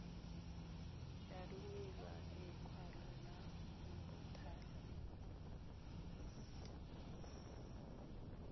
ya romela lekwalo la mothale